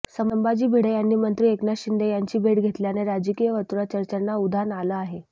संभाजी भिडे यांनी मंत्री एकनाथ शिंदे यांची भेट घेतल्याने राजकीय वर्तुळात चर्चांना उधाण आलं आहे